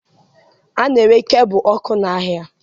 A na-ere kebụ ọkụ n'ahịa